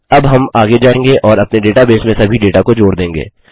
अब हम आगे जाएँगे और अपने डेटाबेस में सभी डेटा को जोड़ देंगे